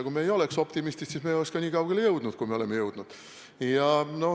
Kui me ei oleks optimistid, siis me ei oleks nii kaugele jõudnud, kui me oleme jõudnud.